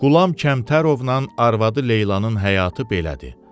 Qulam Kəmtərovnan arvadı Leylanın həyatı belədir.